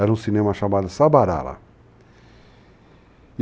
Era um cinema chamado Sabarala.